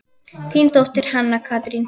Þín dóttir, Hanna Katrín.